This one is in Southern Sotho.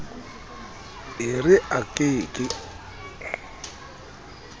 e re a ke ke